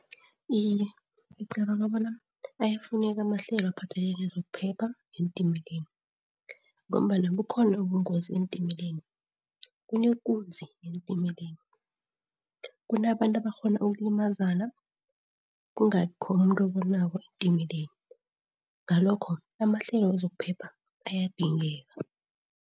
Iye, ngicabanga bona ayafuneka amahlelo aphathelene nezokuphepha eentimeleni, ngombana bukhona ubungozi eentimeleni. Kunekunzi eentimeleni, kunabantu abakghona ukulimazana kungabikho nomuntu obonako eentimeleni, ngalokho amahlelo wezokuphepha ayadingeka.